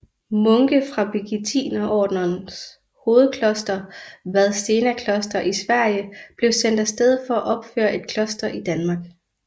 Munke fra Birgittinerordenens hovedkloster Vadstena kloster i Sverige blev sendt afsted for at opføre et kloster i Danmark